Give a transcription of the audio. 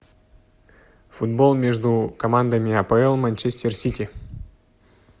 футбол между командами апл манчестер сити